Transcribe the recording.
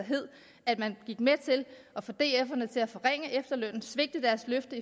at man gik med til at få df til at forringe efterlønnen svigte deres løfter